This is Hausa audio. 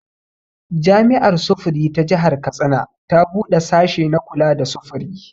Jami'ar sufuri ta jihar Katsina ta buɗe sashe na kula da sufuri